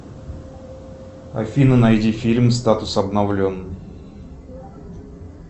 афина найди фильм статус обновлен